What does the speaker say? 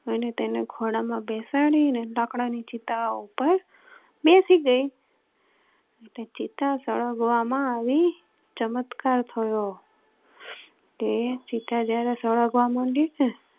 અને તેને ખોળા માં બેસાડી ને લાકડા ની ચિતા ઉપર બેસી ગઈ. ચિતા સળગવામાં આવી ચમત્કાર થયો. ચિતા જયારે સળગવામાં મંડી ને